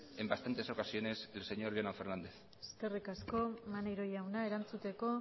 en bastantes ocasiones el señor jonan fernández eskerrik asko maneiro jauna erantzuteko